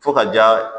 Fo ka ja